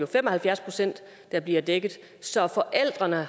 fem og halvfjerds procent der bliver dækket så forældrene